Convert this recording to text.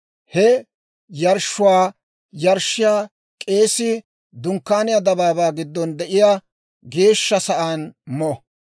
He yarshshuwaa yarshshiyaa k'eesii Dunkkaaniyaa dabaabaa giddon de'iyaa geeshsha sa'aan mo.